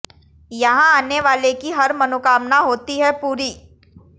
यहां आने वाले की हर मनोकामना होती है पूरी